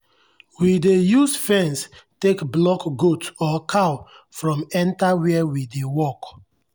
we dey use fence take block goat or cow from enter where we dey work.